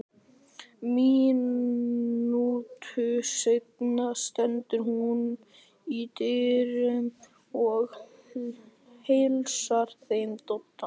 Mínútu seinna stendur hún í dyrunum og heilsar þeim Dodda.